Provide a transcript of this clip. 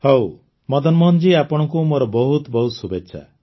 ହଉ ମଦନମୋହନ ଜୀ ଆପଣଙ୍କୁ ମୋର ବହୁତ ବହୁତ ଶୁଭେଚ୍ଛା